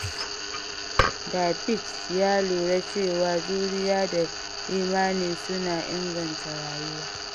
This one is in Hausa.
David ya lura cewa juriya da imani suna inganta rayuwa.